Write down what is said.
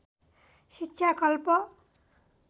शिक्षा कल्प